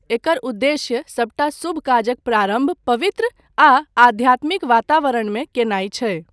एकर उद्देश्य सभटा शुभ काजक प्रारम्भ पवित्र आ आध्यात्मिक वातावरणमे कयनाय छै।